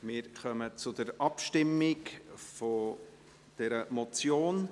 Wir kommen zur Abstimmung über diese Motion.